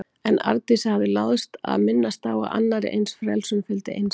En Arndísi hafði láðst að minnast á að annarri eins frelsun fylgdi einsemd.